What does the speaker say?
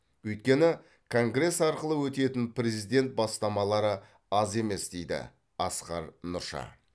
өйткені конгресс арқылы өтетін президент бастамалары аз емес дейді асқар нұрша